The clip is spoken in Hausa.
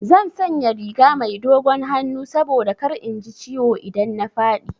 Zan sanya riga mai dogon hannu saboda kar in ji ciwo idan na faɗi.